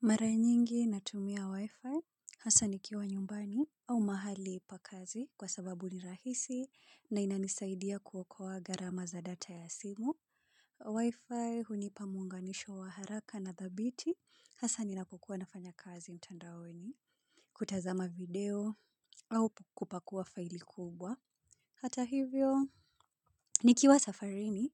Mara nyingi natumia wi-fi, hasa nikiwa nyumbani au mahali pa kazi kwa sababu ni rahisi na inanisaidia kuokoa gharama za data ya simu. Wi-fi hunipa muunganisho wa haraka na thabiti, hasa ninapokuwa nafanya kazi mtandaoni, kutazama video au kupakua faili kubwa. Hata hivyo, nikiwa safarini